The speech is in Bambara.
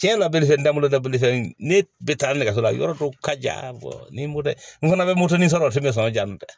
Tiɲɛ labɛn fɛn dalu ta bolofɛn ne bɛ taa nɛgɛso la yɔrɔ dɔw ka ja ni moto n fana bɛ moto ni sɔrɔ fɛn bɛ sɔn o ma